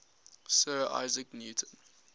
sir isaac newton